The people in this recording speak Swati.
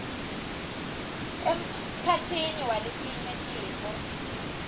emkhatsini waletinye tintfo